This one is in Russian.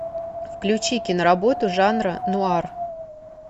включи киноработу жанра нуар